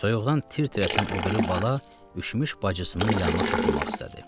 Soyuqdan tir-tir əsən o biri bala üşümüş bacısının yanına soxulmaq istədi.